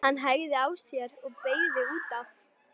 Hann hægði á sér og beygði út af.